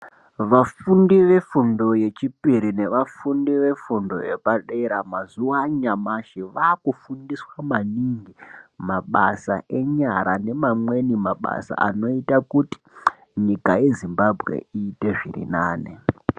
Vafundi vefundo yechipiri nevafundi vefundo yepadera mazuva anyamashi vakufundiswa maningi mabasa enyara neamweni mabasa anoita kuti nyika yezimbabwe iite zviri nane.